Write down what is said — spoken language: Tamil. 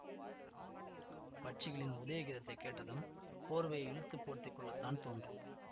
பட்சிகளின் உதய கீதத்தைக் கேட்டதும் போர்வையை இழுத்துப் போர்த்தி கொள்ளத்தான் தோன்றும்